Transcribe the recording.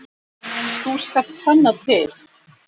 Þú skalt sanna til.